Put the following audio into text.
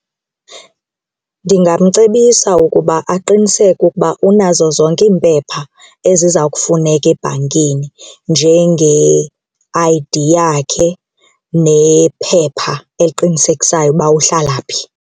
Ndingamcebisa ukuba aqiniseke ukuba unazo zonke iimpepha eziza kufuneka ebhankini njenge-I_D yakhe nephepha eliqinisekisayo ukuba uhlala phi.